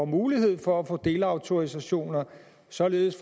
mulighed for at få delautorisationer således